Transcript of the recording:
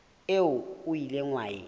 eo o ileng wa e